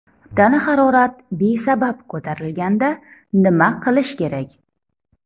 Tana harorat besabab ko‘tarilganda nima qilish kerak?